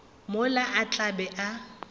mola a tla be a